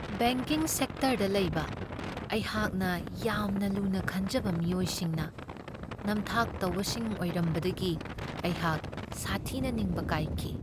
Banking ꯁꯦꯛꯇꯔꯗ ꯂꯩꯕ ꯑꯩꯍꯥꯛꯅ ꯌꯥꯝꯅ ꯂꯨꯅ ꯈꯟꯖꯕ ꯃꯤꯑꯣꯏꯁꯤꯡꯅ ꯅꯝꯊꯥꯛ ꯇꯧꯕꯁꯤꯡ ꯑꯣꯏꯔꯝꯕꯗꯒꯤ ꯑꯩꯍꯥꯛ ꯁꯥꯊꯤꯅ ꯅꯤꯡꯕ ꯀꯥꯏꯈꯤ ꯫